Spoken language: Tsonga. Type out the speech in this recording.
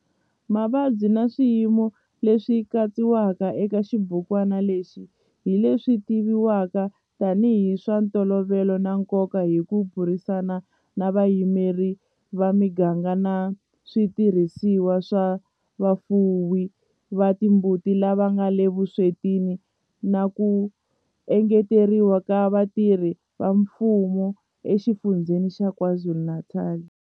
Mavabyi na swiyimo leswi katsiwaka eka xibukwana lexi hi leswi tivivwaka tanihi hi swa ntolovelo na nkoka hi ku burisana na vayimeri va miganga na switirhisiwa swa vafuwi va timbuti lava nga le vuswetini na ku engeteriwa ka vatirhi va mfumo eXifundzheni xa KwaZulu-Natal.